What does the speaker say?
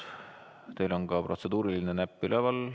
Teil on protseduuriline näpp üleval.